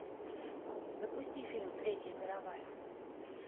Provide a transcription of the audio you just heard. запусти фильм третья мировая